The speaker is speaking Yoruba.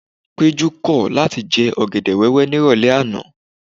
Péjú kọ̀ láti jẹ ọ̀gẹ̀dẹ̀ wẹ́wẹ́ nírọ̀lẹ́ àná.